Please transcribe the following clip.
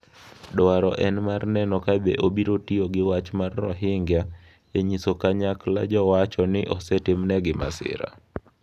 Dwaro en mar neno ka be obiro tiyo gi wach mar "Rohingya" e nyiso kanyakla jowacho ni osetimnegi masira.